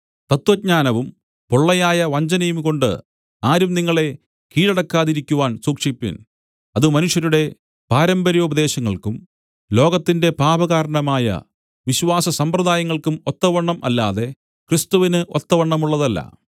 തത്വജ്ഞാനവും പൊള്ളയായ വഞ്ചനയുംകൊണ്ട് ആരും നിങ്ങളെ കീഴടക്കാതിരിക്കുവാൻ സൂക്ഷിപ്പിൻ അത് മനുഷ്യരുടെ പാരമ്പര്യോപദേശങ്ങൾക്കും ലോകത്തിന്റെ പാപകാരണമായ വിശ്വാസ സമ്പ്രദായങ്ങൾക്കും ഒത്തവണ്ണം അല്ലാതെ ക്രിസ്തുവിന് ഒത്തവണ്ണമുള്ളതല്ല